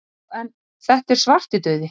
Já en. þetta er Svartidauði!